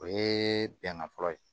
O ye bɛnkan fɔlɔ ye